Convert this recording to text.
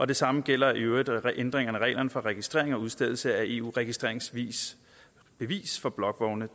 det samme gælder i øvrigt ændringerne af reglerne for registrering og udstedelse af eus registreringsbevis for blokvogne